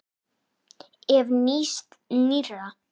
Ef. nýs- nýrra